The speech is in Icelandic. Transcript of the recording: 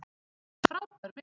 Frábær mynd!